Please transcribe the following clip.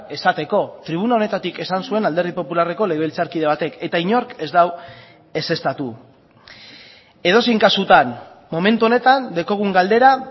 esateko tribuna honetatik esan zuen alderdi popularreko legebiltzarkide batek eta inork ez du ezeztatu edozein kasutan momentu honetan daukagun galdera